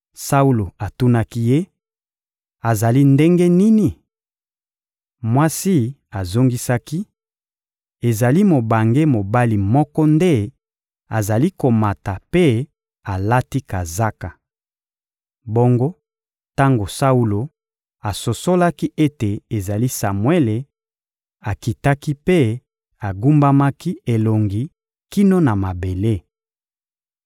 Saulo atunaki ye: — Azali ndenge nini? Mwasi azongisaki: — Ezali mobange mobali moko nde azali komata mpe alati kazaka. Bongo tango Saulo asosolaki ete ezali Samuele, akitaki mpe agumbamaki elongi kino na mabele.